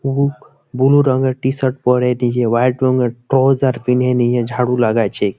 বুক blue রংয়ের t shirt পরে নিজে হোয়াট রংয়ের টোউজার কিনে নিয়ে ঝাড়ু লাগাইছে।